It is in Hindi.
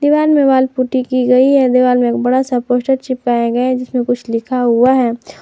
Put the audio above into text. पुट्टी की गई है दिवाल में बड़ा सा पोस्टर चिपकाया गया जिसमें कुछ लिखा हुआ है।